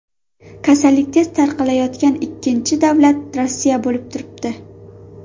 Kasallik tez tarqalayotgan ikkinchi davlat Rossiya bo‘lib turibdi.